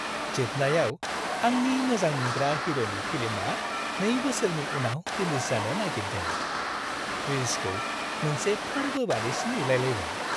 जोबनायाव, आंनि मोजांमोनग्रा हिर'नि फिल्मआ 2 बोसोरनि उनाव रिलिज जानो नागेरदों, रिलिजखौ मोनसे फोरबो बायदिसो नुलाय लायबाय।